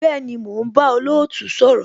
Bẹẹni, mo ń bá olootu sọ̀rọ̀